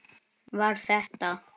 Var þetta?